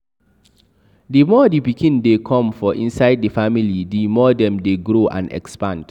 The more the pikin de come for inside the family the more dem de grow and expand